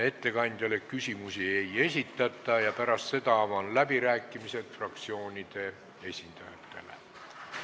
Ettekandjale küsimusi ei esitata ja pärast seda avan läbirääkimised fraktsioonide esindajatele.